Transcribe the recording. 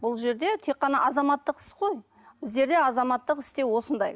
бұл жерде тек қана азаматтық іс қой біздерде азаматтық істе осындай